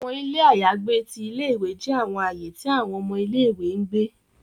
Awọn ile ayagbe ti ìlé-ìwé jẹ awọn aaye ti awọn ọmọ ìlé-ìwé n gbe